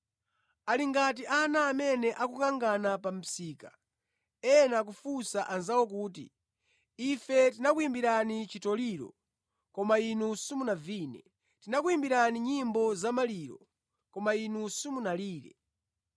Ali ngati ana amene akukangana pa msika, ena akufunsa anzawo kuti, “ ‘Ife tinakuyimbirani chitoliro, koma inu simunavine. Tinakuyimbirani nyimbo zamaliro, koma inu simunalire.’